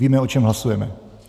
Víme, o čem hlasujeme?